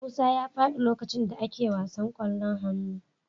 Musa fall down on the basketball court